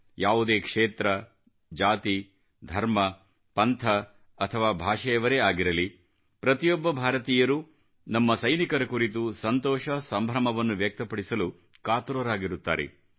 ಯಾವುದೇ ಕ್ಷೇತ್ರ ಜಾತಿ ಧರ್ಮ ಪಂಥ ಅಥವಾ ಭಾಷೆಯವರೇ ಆಗಿರಲಿ ಪ್ರತಿಯೊಬ್ಬ ಭಾರತೀಯರು ನಮ್ಮ ಸೈನಿಕರ ಕುರಿತು ಸಂತೋಷ ಸಂಭ್ರಮವನ್ನು ವ್ಯಕ್ತಪಡಿಸಲು ಕಾತುರರಾಗಿರುತ್ತಾರೆ